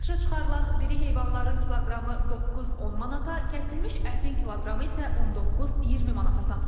Satışa çıxarılan diri heyvanların kiloqramı 9-10 manata, kəsilmiş ətin kiloqramı isə 19-20 manata satılır.